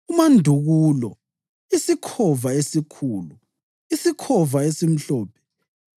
umandukulo, isikhova esikhulu, isikhova esimhlophe,